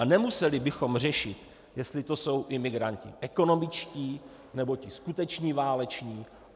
A nemuseli bychom řešit, jestli to jsou imigranti ekonomičtí, nebo ti skuteční váleční.